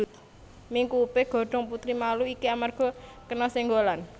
Mingkupé godhong putri malu iki amarga kena sénggolan